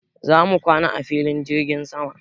Za mu kwana a filin jirgin sama.